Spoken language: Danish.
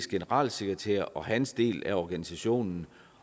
generalsekretær og hans del af organisationen